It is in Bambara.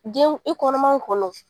Den i kɔnɔman kun don